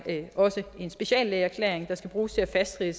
en speciallægeerklæring der skal bruges til at fastsætte